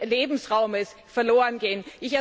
Lebensraums verlorengehen.